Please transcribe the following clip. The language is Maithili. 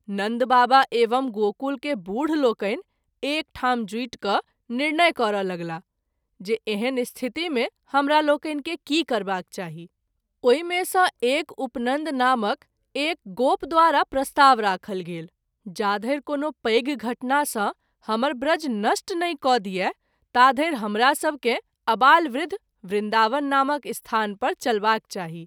नन्द बाबा एवं गोकुल के बुढ लोकनि एकठाम जुटि क’ निर्णय करय लगलाह जे एहन स्थिति मे हमरालोकनि के की करबाक चाही ? ओहि मे सँ एक उपनन्द नामक एक गोप द्वारा प्रस्ताव राखल गेल - जाधरि कोनो पैघ घटना सँ हमर ब्रज नष्ट नहिं क’ दिए ताधरि हमरा सभकेँ अबालवृद्ध “ वृन्दावन “ नामक स्थान पर चलबाक चाही।